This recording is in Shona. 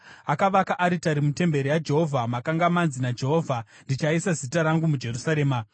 Akavaka aritari mutemberi yaJehovha, makanga manzi naJehovha, “Ndichaisa zita rangu muJerusarema.”